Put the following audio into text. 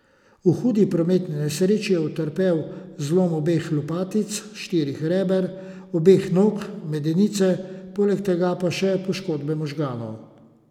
V hudi prometni nesreči je utrpel zlom obeh lopatic, štirih reber, obeh nog, medenice, poleg tega pa še poškodbe možganov.